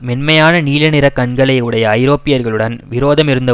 மென்மையான நீலநிற கண்களை உடைய ஐரோப்பியர்களுடன் விரோதம் இருந்த